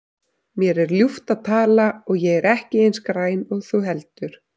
Mér er ljúft að tala og ég er ekki eins græn og þú heldur.